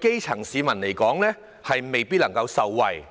基層市民未必能夠受惠。